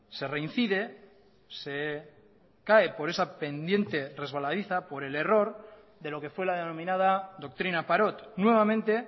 se reincide se cae por esa pendiente resbaladiza por el error de lo que fue la denominada doctrina parot nuevamente